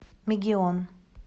мегион